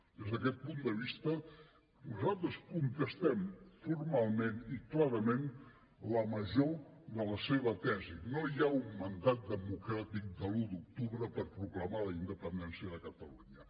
des d’aquest punt de vista nosaltres contestem formalment i clarament la major de la seva tesi no hi ha un mandat democràtic de l’un d’octubre per proclamar la independència de catalunya